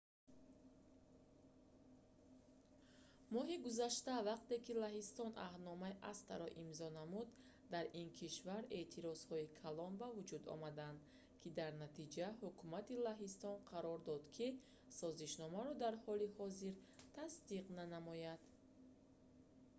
моҳи гузашта вақте ки лаҳистон аҳдномаи acta-ро имзо намуд дар ин кишвар эътирозҳои калон ба вуҷуд омаданд ки дар натиҷа ҳукумати лаҳистон қарор дод ки созишномаро дар ҳоли ҳозир тасдиқ нанамояд